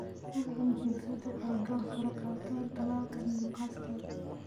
Hubi in chicksadu ay goor hore qaataan tallaalka Newcastle.